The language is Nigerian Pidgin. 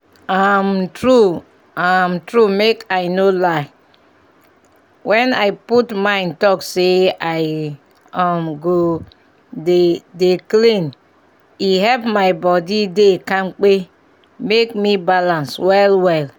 um true um true make i no lie when i put mind talk say i um go dey dey clean e help my body dey kampe make me balance well well